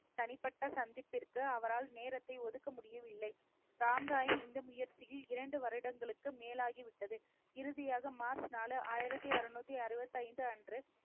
தனிப்பட்ட சந்திப்பிற்கு அவரால் நேரத்தை ஒதுக்க முடியவில்லை. ராம் ராயின் இந்த முயற்சியில் இரண்டு வருடங்களுக்கு மேலாகிவிட்டது. இறுதியாக மார்ச் நாலு, ஆயிரத்தி அறுநூத்தி அறுபத்தி ஐந்து அன்று,